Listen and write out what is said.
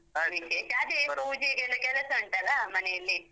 ಪೂಜೆಗೆಲ್ಲ ಕೆಲಸ ಉಂಟಲ್ಲ, ಮನೆಯಲ್ಲಿ?